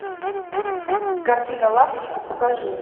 картина лапочка покажи